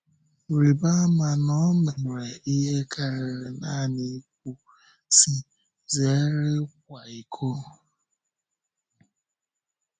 Rịba ama na ọ mere ihe kàrịrị nanị ikwu, sị, “Zèrè ị̀kwa íkò.”